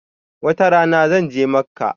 Wata rana zan je Makkah